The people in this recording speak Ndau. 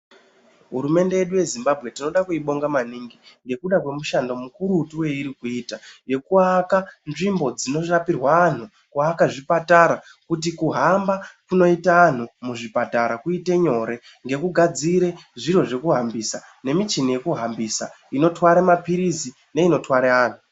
Hurumende yedu yeZimbabwe tinoda kuibonga maningi. ngekuda kwemishando mikurutu yepiri kuita, yekuaka nzvimbo dzinorapirwa anhu, kuaka zvipatara, kuti kuhamba kunoita anhu muzvipatara kuite nyore, ngekugadzire zviro zvekufambisa nemichini yekuhambisa, inotware maphirizi, neinotware anhu.